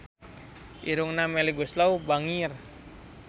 Irungna Melly Goeslaw bangir